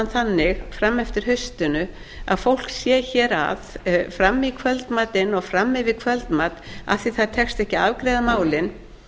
þannig fram eftir hausti að fólk sé hér að fram í kvöldmatinn og fram yfir kvöldmat af því að ekki tekst að afgreiða málin